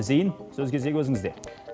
зейн сөз кезегі өзіңізде